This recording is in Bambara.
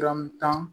tan